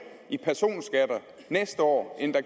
i personskatter næste år end der